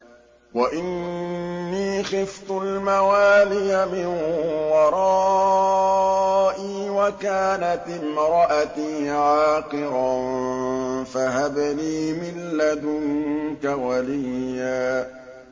وَإِنِّي خِفْتُ الْمَوَالِيَ مِن وَرَائِي وَكَانَتِ امْرَأَتِي عَاقِرًا فَهَبْ لِي مِن لَّدُنكَ وَلِيًّا